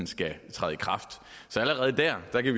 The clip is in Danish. skal træde i kraft så allerede der kan